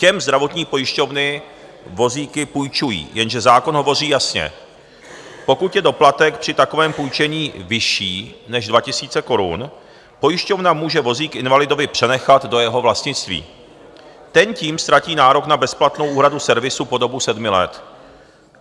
Těm zdravotní pojišťovny vozíky půjčují, jenže zákon hovoří jasně, pokud je doplatek při takovém půjčení vyšší než 2 000 korun, pojišťovna může vozík invalidovi přenechat do jeho vlastnictví, ten tím ztratí nárok na bezplatnou úhradu servisu po dobu sedmi let.